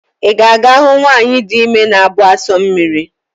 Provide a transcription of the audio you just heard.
Ị ga-aga ahụ nwanyị dị ime na-abụ asụ mmiri?